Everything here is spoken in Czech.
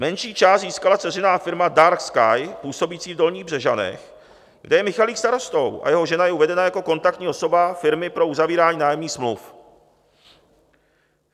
Menší část získala dceřiná firma Dark Sky působící v Dolních Břežanech, kde je Michalik starostou, a jeho žena je uvedena jako kontaktní osoba firmy pro uzavírání nájemních smluv.